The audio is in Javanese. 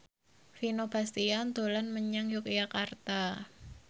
Vino Bastian dolan menyang Yogyakarta